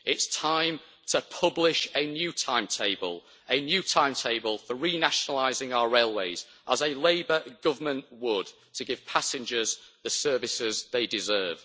It's time to publish a new timetable, a new timetable for renationalising our railways as a Labour government would to give passengers the services they deserve.